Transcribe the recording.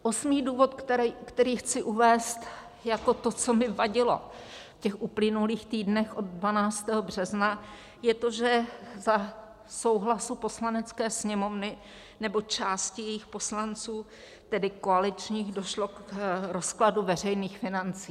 Osmý důvod, který chci uvést jako to, co mi vadilo v těch uplynulých týdnech od 12. března, je to, že za souhlasu Poslanecké sněmovny, nebo části jejích poslanců, tedy koaličních, došlo k rozkladu veřejných financí.